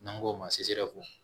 N'an k'o ma